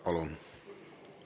Palun!